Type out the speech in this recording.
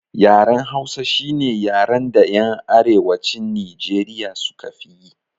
Yaren hausa shine yaran da yan arewacin nijeriya suka fiyi